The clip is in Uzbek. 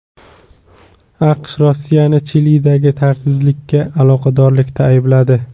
AQSh Rossiyani Chilidagi tartibsizliklarga aloqadorlikda aybladi.